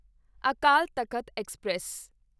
Akal Takht express